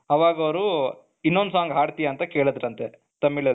ಅವಾಗ ಅವರು ಇನ್ನೊಂದು song ಆಡ್ತಿಯಾ ಅಂತ ಕೇಳಿದ್ರಂತೆ ತಮಿಳಲ್ಲಿ